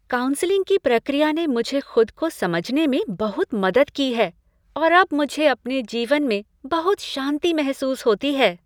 Counselling की प्रक्रिया ने मुझे खुद को समझने में बहुत मदद की है और अब मुझे अपने जीवन में बहुत शांति महसूस होती है।